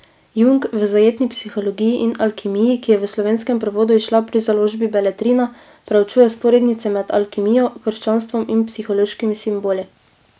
Jung v zajetni Psihologiji in alkimiji, ki je v slovenskem prevodu izšla pri založbi Beletrina, preučuje vzporednice med alkimijo, krščanstvom in psihološkimi simboli.